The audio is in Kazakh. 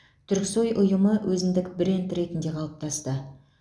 түріксой ұйымы өзіндік бренд ретінде қалыптасты